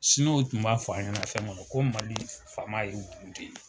u tun b'a fɔ an ɲɛna fɛnkɛ ko mali faama yeru kun te yen.